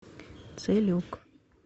целюк